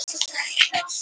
Þjóðtrú í þéttbýli